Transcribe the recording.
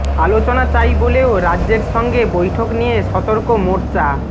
আলোচনা চাই বলেও রাজ্যের সঙ্গে বৈঠক নিয়ে সতর্ক মোর্চা